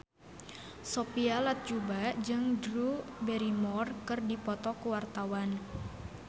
Sophia Latjuba jeung Drew Barrymore keur dipoto ku wartawan